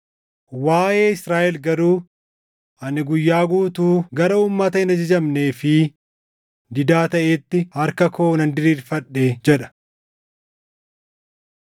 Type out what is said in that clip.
Waaʼee Israaʼel garuu, “Ani guyyaa guutuu gara uummata hin ajajamnee fi didaa taʼeetti harka koo nan diriirfadhe” + 10:21 \+xt Isa 65:2\+xt* jedha.